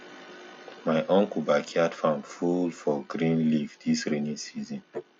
my uncle backyard farm full for green leaf dis rainy season